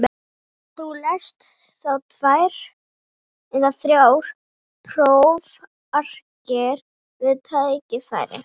Þú lest þá tvær eða þrjár prófarkir við tækifæri.